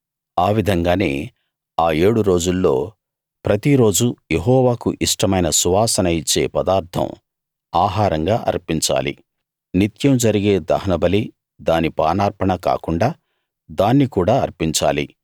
ఆ విధంగానే ఆ ఏడు రోజుల్లో ప్రతిరోజూ యెహోవాకు ఇష్టమైన సువాసన ఇచ్చే పదార్థం ఆహారంగా అర్పించాలి నిత్యం జరిగే దహనబలి దాని పానార్పణ కాకుండా దాన్ని కూడా అర్పించాలి